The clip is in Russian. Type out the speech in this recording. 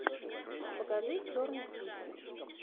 покажи черный список